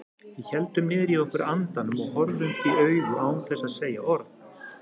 Við héldum niðri í okkur andanum og horfðumst í augu án þess að segja orð.